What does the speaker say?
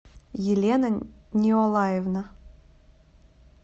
елена неолаевна